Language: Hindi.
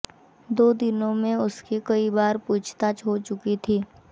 दो दिनों में उसके कई बार पूछताछ हो चुकी थी